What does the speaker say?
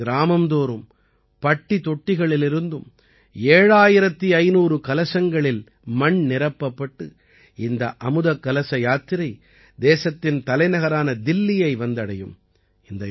தேசத்தின் கிராமம் தோறும் பட்டி தொட்டிகளிலிருந்தும் 7500 கலசங்களில் மண் நிரப்பப்பட்டு இந்த அமுதக்கலச யாத்திரை தேசத்தின் தலைநகரான தில்லியை வந்தடையும்